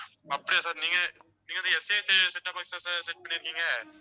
அப்படியா sir நீங்க நீங்க வந்து STCset top box ஆ sirset பண்ணியிருக்கீங்க?